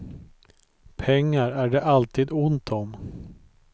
Pengar är det alltid ont om.